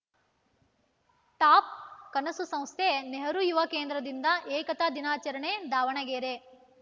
top ಕನಸು ಸಂಸ್ಥೆ ನೆಹರು ಯುವ ಕೇಂದ್ರದಿಂದ ಏಕತಾ ದಿನಾಚರಣೆ ದಾವಣಗೆರೆ